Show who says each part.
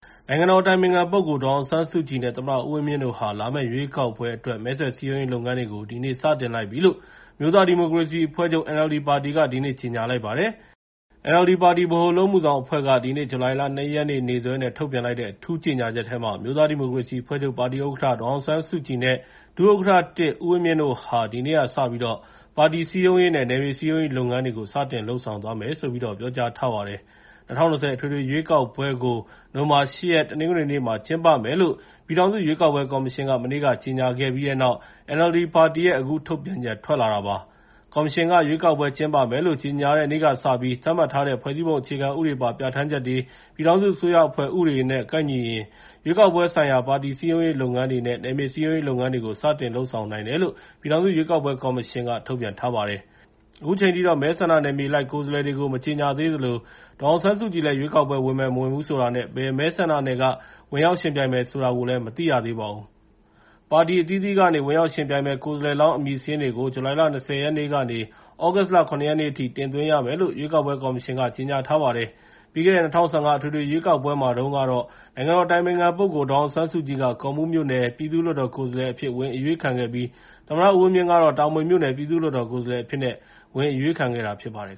Speaker 1: နိုင်ငံတော်အတိုင်ပင်ခံပုဂ္ဂိုလ် ဒေါ်အောင်ဆန်းစုကြည်နဲ့ သမ္မတဦးဝင်းမြင့်တို့ဟာ လာမယ့်ရွေးကောက်ပွဲအတွက် မဲဆွယ်စည်းရုံးရေး လုပ်ငန်းတွေကို ဒီနေ့က စတင်လိုက်ပြီလို့ အမျိုးသားဒီမိုကရေစီအဖွဲ့ NLD ပါတီက ဒီနေ့ ကြေငြာလိုက်ပါတယ်။ NLD ပါတီ ဗဟိုအလုပ်အမှုဆောင်အဖွဲ့က ဒီနေ့ ဇူလိုင်လ ၂ ရက် နေ့စွဲနဲ့ ထုတ်ပြန်လိုက်တဲ့ အထူးကြေငြာချက်ထဲမှာ အမျိုးသားဒီမိုကရေစီအဖွဲ့ချုပ် ပါတီဥက္ကဋ္ဌ ဒေါ်အောင်ဆန်းစုကြည်နဲ့ ဒု-ဥက္ကဋ္ဌ (၁) ဦးဝင်းမြင့်တို့ဟာ ဒီနေ့ကစပြီး ပါတီစည်းရုံရေးနဲ့ နယ်မြေစည်းရုံးရေးလုပ်ငန်းတွေကို စတင်လုပ်ဆောင်သွားမယ်ဆိုပြီး ပြောကြားထားပါတယ်။ ၂၀၂၀ အထွေထွေရွေးကောက်ပွဲကို နိုဝင်ဘာလ ၈ ရက် တနင်္ဂနွေနေ့မှာ ကျင်းပမယ်လို့ ပြည်ထောင်စုရွေးကောက်ပွဲကော်မရှင် မနေ့က ကြေငြာခဲ့ပြီးတဲ့နောက် NLD ပါတီရဲ့ အခုထုတ်ပြန်ချက် ထွက်လာတာပါ။ ကော်မရှင်က ရွေးကောက်ပွဲကျင်းပမယ်လို့ ကြေငြာတဲ့နေ့ကစပြီး သတ်မှတ်ထားတဲ့ ဖွဲ့စည်းပုံအခြေခံဥပဒေပါ ပြဌာန်းချက်တွေ၊ ပြည်ထောင်စုအစိုးရအဖွဲ့ဥပဒေတွေနဲ့ ကိုက်ညီရင် ရွေးကောက်ပွဲဆိုင်ရာ ပါတီစည်းရုံးရေးလုပ်ငန်းတွေနဲ့ နယ်မြေစည်းရုံရေးလုပ်ငန်းတွေကို စတင်လုပ်ဆောင်နိုင်တယ်လို့ ပြည်ထောင်စုရွေးကောက်ပွဲ ကော်မရှင်က ထုတ်ပြန်ထားပါတယ်။ အခုချိန်ထိတော့ မဲဆန္ဒနယ်မြေအလိုက် ကိုယ်စားလှယ်တွေကို မကြေငြာသေးသလို ဒေါ်အောင်ဆန်းစုကြည် ဝင်ပြိုင်မယ်၊ မပြိုင်ဘူးဆိုတာကိုလည်း အတိအကျ မသိရသေးပါဘူး။ ပါတီအသီးသီးကနေ ဝင်ရောက်ယှဉ်ပြိင်မယ့် ကိုယ်စားလှယ်လောင်း အမည်စာရင်းတွေကို ဇူလိုင်လ ၂၀ ရက်နေ့ကနေ သြဂုတ်လ ၇ ရက်နေ့အထိ တင်သွင်းရမယ်လို့ ရွေးကောက်ပွဲကော်မရှင်က ကြေညာထားပါတယ်။ ပြီးခဲ့တဲ့ ၂၀၁၅ အထွေထွေရွေးကောက်ပွဲမှာတုန်းကတော့ နိုင်ငံတော်အတိုင်ပင်ခံပုဂ္ဂိုလ် ဒေါ်အောင်ဆန်းစုကြည်က ကော့မှူးမြို့နယ် ပြည်သူ့လွှတ်တော်ကိုယ်စားလှယ်အဖြစ် ဝင်အရွေးခံခဲ့ပြီး သမ္မတဦးဝင်းမြင့်ကတော့ တာမွေမြို့နယ် ပြည်သူ့လွှတ်တော်ကိုယ်စားလှယ်အဖြစ်နဲ့ ဝင်အရွေးခံခဲ့တာဖြစ်ပါတယ်